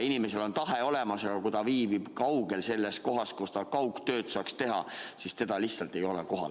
Inimesel on tahe olemas, aga kui ta viibib kaugel sellest kohast, kus ta kaugtööd saaks teha, siis teda lihtsalt ei ole kohal.